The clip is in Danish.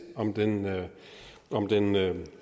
om den om den